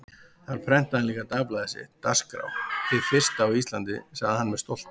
Þar prentaði hann líka dagblaðið sitt, Dagskrá, hið fyrsta á Íslandi, sagði hann með stolti.